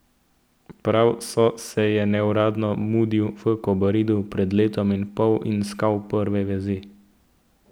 Prav So se je neuradno mudil v Kobaridu pred letom in pol in stkal prve vezi.